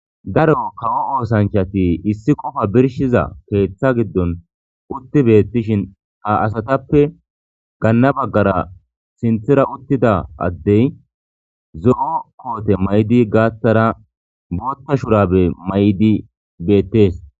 garo kawo oosanchati issi qofa birshiza keeththa giddon utti beettishin ha asatappe gaanna baggara sinthira uttida addey zo7o koote may7di gaattara bootta shurabe may7di beettees